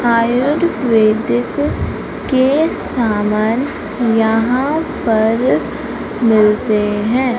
आयुर्वेदिक के सामान यहां पर मिलते हैं।